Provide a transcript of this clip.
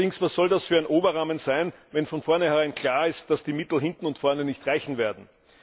Allerdings, was soll das für ein Oberrahmen sein, wenn von vornherein klar ist, dass die Mittel hinten und vorne nicht reichen werden?